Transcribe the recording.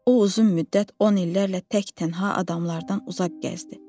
O uzun müddət, on illərlə tək-tənha adamlardan uzaq gəzdi.